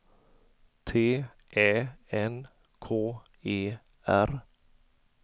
T Ä N K E R